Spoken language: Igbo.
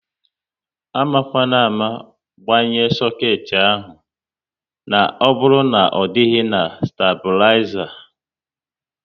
Amakwana ámá gbanye soket ahụ na ọbụrụ na ọ dịghị na staibulizer!